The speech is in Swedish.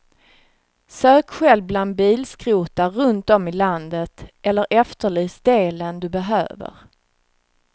Sök själv bland bilskrotar runt om i landet eller efterlys delen du behöver.